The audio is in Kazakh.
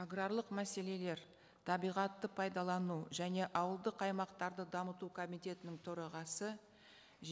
аграрлық мәселелер табиғатты пайдалану және ауылдық аймақтарды дамыту комитетінің төрағасы